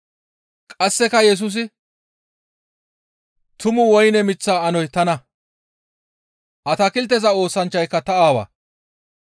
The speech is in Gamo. Qasseka Yesusi, «Tumu woyne miththa anoy tana; atakilteza oosanchchay ta Aawa.